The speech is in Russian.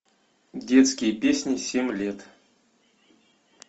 детские песни семь лет